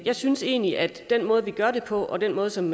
jeg synes egentlig at den måde vi gør det på og den måde som